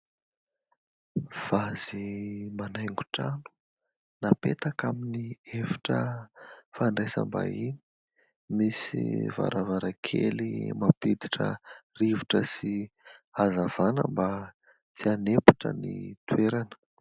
Vazy manaingo trano, napetaka amin'ny efitra fandraisam-bahiny. Misy varavarankely mampiditra rivotra sy hazavana mba tsy hanempotra ny toerana.